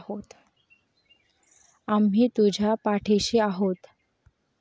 आम्ही तुझ्या पाठीशी आहोत.